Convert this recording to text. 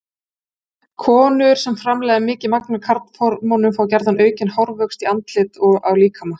Konur sem framleiða mikið af karlhormónum fá gjarna aukinn hárvöxt í andliti og á líkama.